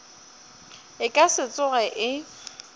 e ka se tsoge e